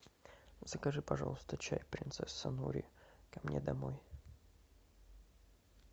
закажи пожалуйста чай принцесса нури ко мне домой